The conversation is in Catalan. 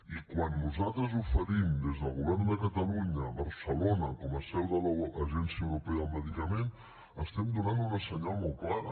i quan nosaltres oferim des del govern de catalunya barcelona com a seu de l’agència europea del medicament estem donant una senyal molt clara